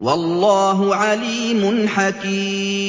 وَاللَّهُ عَلِيمٌ حَكِيمٌ